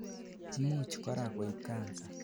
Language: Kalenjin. imuch korak koib Cancer